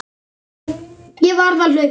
Ég varð að hlaupa.